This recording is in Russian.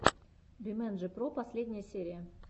бимэнджи про последняя серия